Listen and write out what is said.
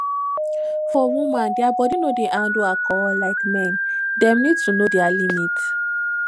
for women their body no dey handle alcohol like men dem need to know their limit